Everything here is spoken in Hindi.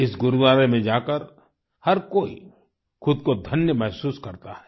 इस गुरूद्वारे में जाकर हर कोई खुद को धन्य महसूस करता है